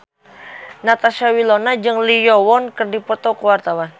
Natasha Wilona jeung Lee Yo Won keur dipoto ku wartawan